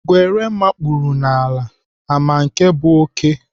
Ngwere makpuru n'ala ama nke bụ oké?